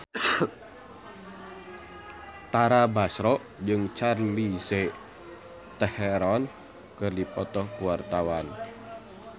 Tara Basro jeung Charlize Theron keur dipoto ku wartawan